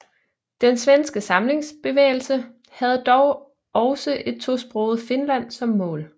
Den svenske samlingsbevægelse havde dog også et tosproget Finland som mål